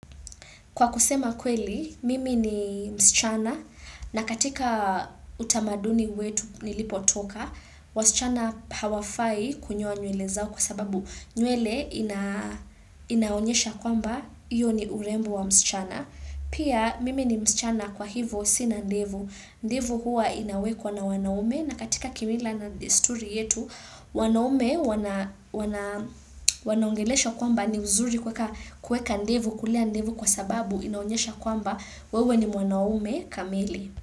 Kwa kusema kweli, mimi ni msichana na katika utamaduni wetu nilipotoka, wasichana hawafai kunyoa nywele zao kwa sababu nywele inaonyesha kwamba iyo ni urembo wa msichana. Pia mimi ni msichana kwa hivo sina ndevu ndevu hua inawekwa na wanaume na katika kimila na desturi yetu wanaume wanaongelesha kwamba ni uzuri kuweka ndevu kulea ndevu kwa sababu inaonyesha kwamba wewe ni wanaume kameli.